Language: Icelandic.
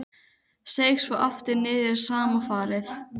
Seig svo aftur niður í sama farið.